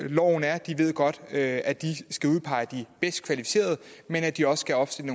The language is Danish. loven er de ved godt at at de skal udpege de bedst kvalificerede men at de også skal opstille